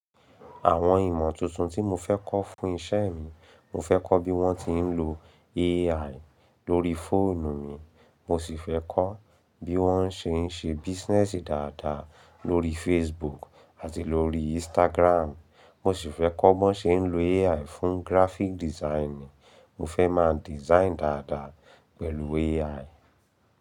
Àwọn ìmọ̀ tuntun tí mo fẹ́ kọ́ fún iṣẹ́ mi, mo fẹ́ kọ́ bí wọ́n ti ń lo AI lórí fóònù mi, mo sì fẹ́ kọ́ bí wọ́n ṣe ń ṣe business dáadáa lórí Facebook àti lórí Instagram, mo sì fẹ́ kọ́ bí wọ́n ṣe ń lo AI fún graphic designing. Mo fẹ́ máa design dáadáa pẹ̀lú AI.